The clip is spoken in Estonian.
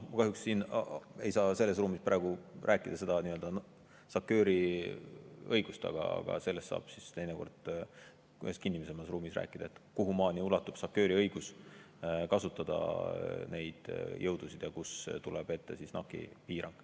Ma kahjuks ei saa siin ruumis praegu rääkida SACEUR-i õigusest, aga teinekord saab mõnes kinnisemas ruumis sellest rääkida, kuhumaani ulatub SACEUR-i õigus kasutada neid jõudusid ja kus tuleb ette NAC-i piirang.